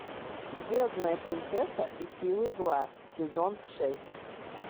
звездная принцесса и силы зла сезон шесть